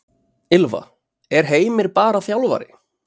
Ylfa: Er Heimir bara þjálfari?